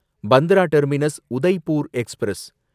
Bandra terminus Udaipur express